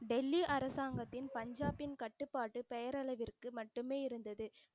டெல்லி அரசாங்கத்தின் பஞ்சாபின் கட்டுபாட்டு பெயரளவிற்கு மட்டுமே இருந்தது.